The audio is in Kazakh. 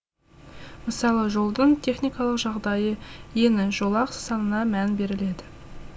мысалы жолдың техникалық жағдайы ені жолақ санына мән беріледі